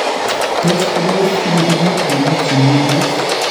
Tot kobois bikibikiit komuutchemyondoos